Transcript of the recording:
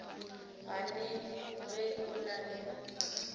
gane ge o na le